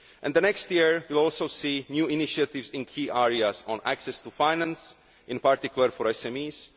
The next year will also see new initiatives in key areas on access to finance, in particular for